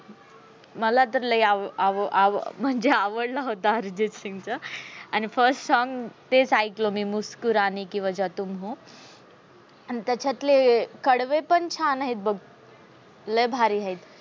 मला तर लय आव आव आव म्हणजे आवडला होता अर्जित सिंग च. first song तेच ऐकलं मी मुस्कुराने की वजा तुम हो. आणि त्याच्यातले कडवे पण छान आहे बघ लय भारी आहेत.